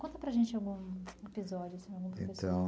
Conta para a gente algum episódio.